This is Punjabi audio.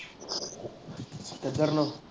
ਕਿੱਧਰ ਨੂੰ?